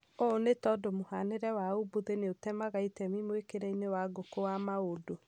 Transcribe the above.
Uũ nĩ tondũ mũhanĩre wa umbuthĩ nĩutemaga itemi mwĩkĩre-inĩ wa ngũkũ wa maũndũ.